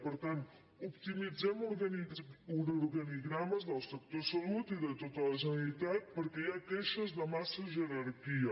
per tant optimitzem uns organigrames del sector salut i de tota la generalitat perquè hi ha queixes de massa jerarquia